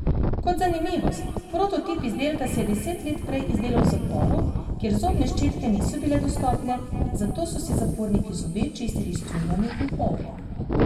Kot zanimivost, prototip izdelka si je deset let prej izdelal v zaporu, kjer zobne ščetke niso bile dostopne, zato so si zaporniki zobe čistili s cunjami in ogljem.